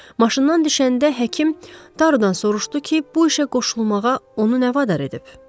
Maşından düşəndə həkim Tarudan soruşdu ki, bu işə qoşulmağa onu nə vadar edib?